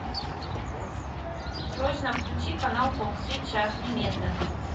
срочно включи канал фокс сейчас немедленно